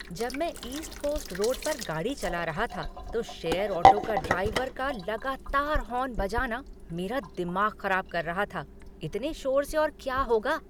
जब मैं east coast road पर गाड़ी चला रहा था तो शेयर ऑटो का ड्राइवर का लगातार हॉर्न बजाना मेरा दिमाग ख़राब कर रहा था। इतने शोर से और क्या होगा।